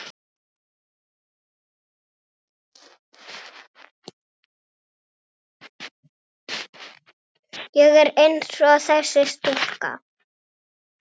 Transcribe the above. Ég er einsog þessi stúlka.